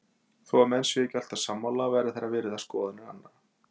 Þó að menn séu ekki alltaf sammála verða þeir að virða skoðanir annara.